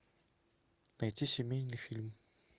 найти семейный фильм